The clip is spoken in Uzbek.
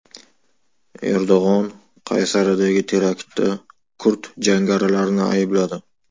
Erdo‘g‘on Qaysaridagi teraktda kurd jangarilarini aybladi.